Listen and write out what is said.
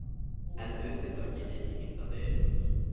En auðvitað get ég ekki heimtað að deyja hjá þér.